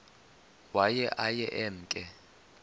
waye aye emke